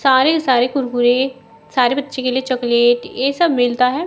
सारे सारे कुरकुरे सारे बच्चों के लिए चॉकलेट ये सब मिलता है।